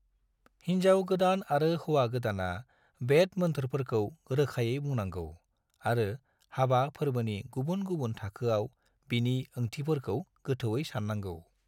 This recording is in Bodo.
हिनजाव गोदान आरो हौवा गोदाना वैद मोन्थोरफोरखौ रोखायै बुंनांगौ आरो हाबा फोरबोनि गुबुन-गुबुन थाखोआव बिनि ओंथिफोरखौ गोथौयै साननांगौ।